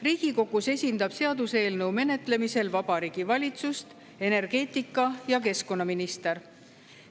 Riigikogus esindab seaduseelnõu menetlemisel Vabariigi Valitsust energeetika‑ ja keskkonnaminister.